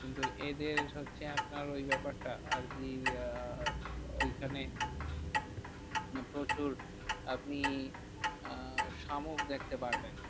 কিন্তু এদের হচ্ছে একার ওই ব্যাপারটা আরকি আহ ওইখানে প্রচুর আপনি আহ শামুক দেখতে পারবেন।